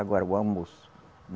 Agora, o almoço.